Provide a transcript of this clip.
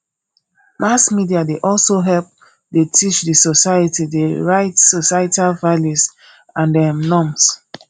mass media dey also help dey teach the society the right societal values and um norms